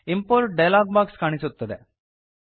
import dialog box ಕಾಣಿಸುತ್ತದೆ